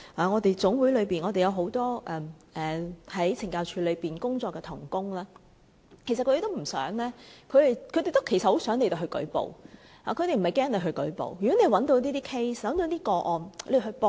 我們的總會內有很多在懲教署工作的同工，其實他們都很想有人舉報，他們不害怕有人舉報，如果你們找到一些個案，請舉報。